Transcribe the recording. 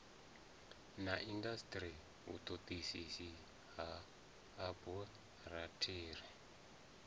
na indasiteri vhutodisisi ha aborathari